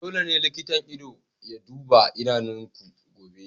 Dole ne likitan ido ya duba idanunku gobe!